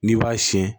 N'i b'a siyɛn